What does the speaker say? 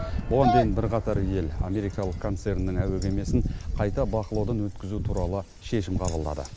бұған дейін бірқатар ел америкалық концерннің әуе кемесін қайта бақылаудан өткізу туралы шешім қабылдады